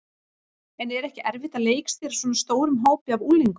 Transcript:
En er ekki erfitt að leikstýra svona stórum hópi af unglingum?